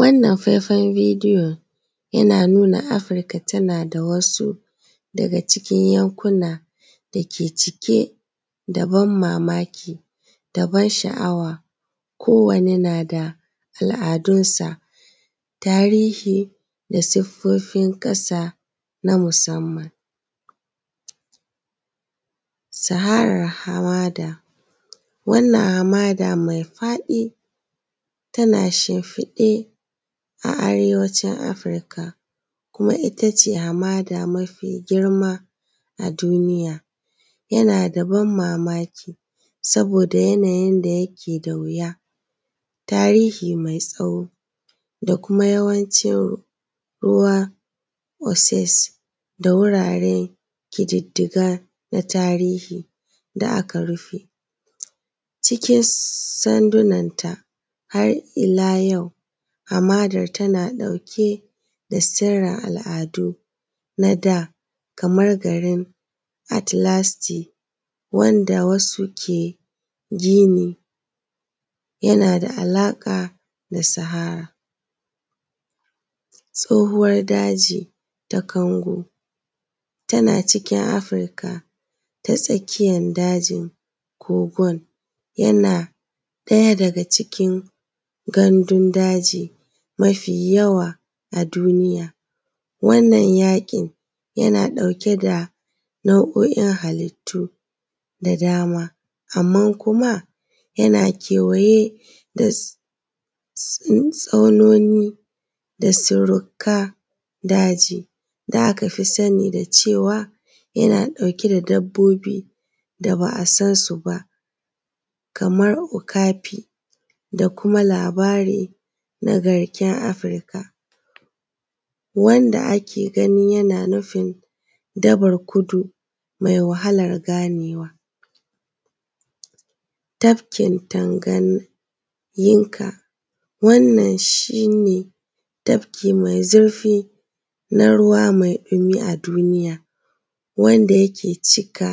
Wannan faifan bidiyon yana nuna Afrika tana daga wasu daga cikin yankuna dake cike da banmamaki da ban sha’awa, kowane na da al’adunsa, tarihi da siffofin ƙasa na musamman. Saharar Hamada wannan Hamada mai faɗi tana shimfiɗe a arewacin Afrika kuma ita ce Hamada mafigirma a duniya, yana da ban mamaki saboda yanayin yanda yake da wasu tarihi mai tsawo da kuma yawancin ruwa oses da wuraren ƙididdiga na tarihi da aka rufe cikin sandunanta. Har ila yau, hamadar tana ɗauke da sirran al’adu na da kamar garin Atlasti wanda wasu ke gani yana da alaka da sahara tsohuwar daji ta Kangu tana cikin Afrika ta tsakiyar dajin kogon yana ɗaya daga cikin gandundaji mafiyawa a duniya, wannan ya yana ɗauke da nau’o’in halittu da dama, amman kuma yana kewaye da tsaunoni da sirrika daji da aka fi sani da cewa yana ɗauke da dabbobi da da ba a san su ba, kamar okafi da kuma labari na garken Afrika wanda ake ganin yana nufin dabar kudu mai wahalar ganewa. Tafkin Tanganyinka wannan shi ne tafki maizurfi na ruwa mai dumi a duniya wanda yake cika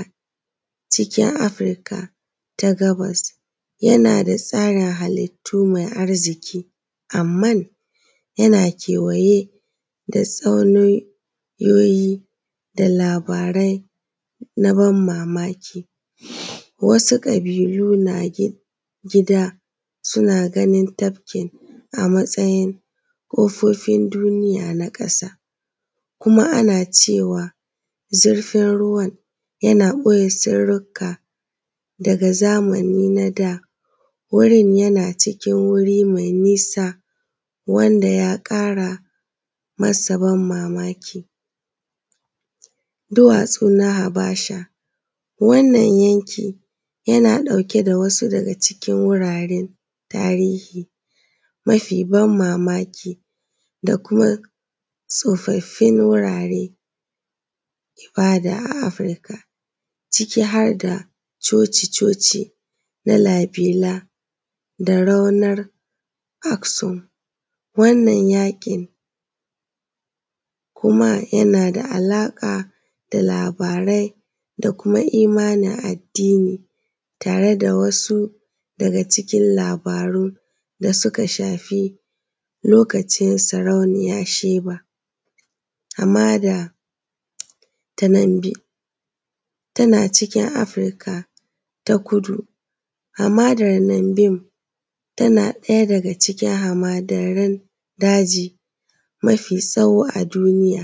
cikin Afrika ta gabas yana da tsarin halittu mai arziki, amman yana kewaye da tsauniyoyi da labarai na ban mamaki, wasu ƙabilu na gida suna ganin tafkin a matsayin ƙofofin duniya na ƙasa kuma ana cewa zurfin ruwan yana ɓoye, sirrika daga zamani na da wurin yana cikin wuri mai nisa wanda ya akara ama ban mamaki, duwatsu na Habasha, wannan yanki yana ɗauke da wasu daga cikin wuraren tarihi mafi ban mamaki da kuma tsofaffin wuraren ibada a Afrika ciki har da coci-coci na labela da raunar boksom. Wannan yakin kuma yana da alaƙa da labarai da kuma imanin addini tare da wasu daga cikin labaru da suka shafi lokacin sarauniya Sheba, amma da Tananbe tana cikin Afrika ta kudu amma Tananben tana ɗaya daga cikin hamadarin daji mafitsawo a duniya,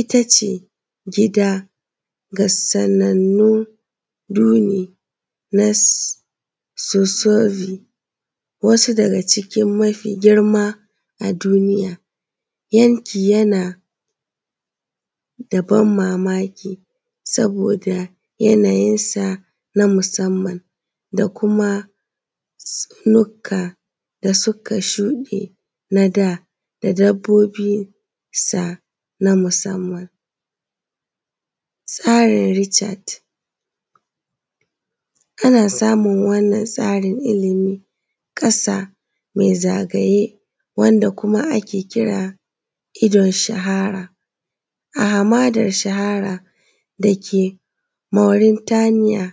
ita ce gida ga sanannun duni na sosobi, wasu daga cikin mafi girma a duniya, yanki yana da ban mamaki saboda yanayinsa na musamman da kuma tsaunuka da suka shuɗe na da, da dabbobinsa na musamman. Tsarin Richad ana samun wannan tsarin ilimi ƙasa mai zama ragaye wanda kuma ake kira idan shahara a hamadar shahara dake Maurintaniya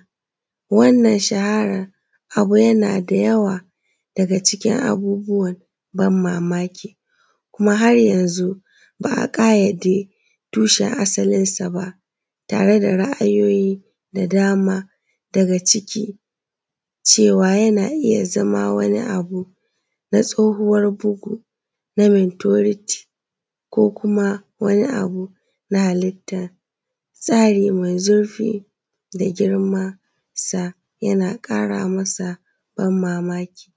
wannan shaharar abu yana da yawa daga cikin abubuwan ban mamaki kuma haryazun ba a ƙayyade tushen asalinsa ba tare da ra’ayoyi da dama daga ciki cewa yana iya zama wani abu na tsoohuwar bugu na Mintoniti ko kuma na wani abu na halittan tsari mai zurfi da girmansa yana ƙara masa ban mamaki.